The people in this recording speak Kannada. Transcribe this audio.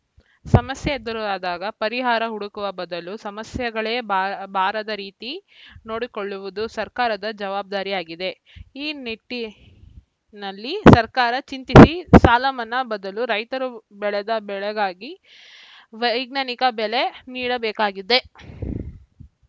ಸಮಸ್ಯೆ ಎದುರಾದಾಗ ಪರಿಹಾರ ಹುಡುಕುವ ಬದಲು ಸಮಸ್ಯೆಗಳೇ ಬಾ ಬಾರದ ರೀತಿ ನೋಡುಕೊಳ್ಳುವುದು ಸರ್ಕಾರದ ಜವಾಬ್ದಾರಿಯಾಗಿದೆ ಈ ನಿಟ್ಟಿನಲ್ಲಿ ಸರ್ಕಾರ ಚಿಂತಿಸಿ ಸಾಲಮನ್ನಾ ಬದಲು ರೈತರು ಬೆಳೆದ ಬೆಳೆಗಾಗಿ ವೈಜ್ಞಾನಿಕ ಬೆಲೆ ನೀಡಬೇಕಿದೆ